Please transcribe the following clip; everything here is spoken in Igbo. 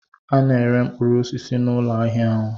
A na-ere mkpụrụ osisi n'ụlọ ahịa ahụ.